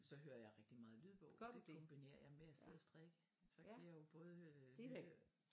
Så hører jeg rigtig meget lydbog det kombinerer jeg med at sidde og strikke så kan jeg jo både